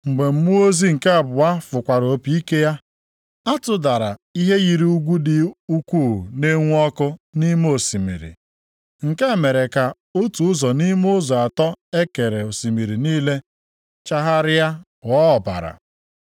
Mgbe mmụọ ozi nke abụọ fụkwara opi ike ya, a tụdara ihe yiri ugwu dị ukwuu na-enwu ọkụ nʼime osimiri. Nke a mere ka otu ụzọ nʼime ụzọ atọ e kere osimiri niile chagharịa ghọọ ọbara.